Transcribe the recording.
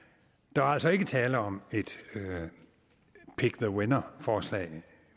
der er altså ikke tale om et pick the winner forslag